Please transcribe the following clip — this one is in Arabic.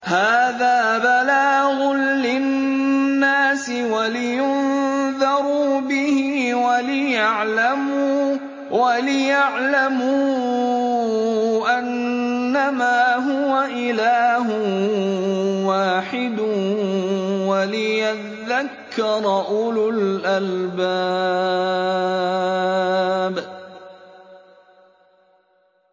هَٰذَا بَلَاغٌ لِّلنَّاسِ وَلِيُنذَرُوا بِهِ وَلِيَعْلَمُوا أَنَّمَا هُوَ إِلَٰهٌ وَاحِدٌ وَلِيَذَّكَّرَ أُولُو الْأَلْبَابِ